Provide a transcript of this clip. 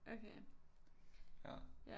Okay ja